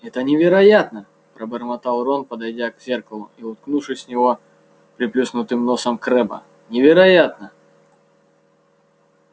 это невероятно пробормотал рон подойдя к зеркалу и уткнувшись в него приплюснутым носом крэбба невероятно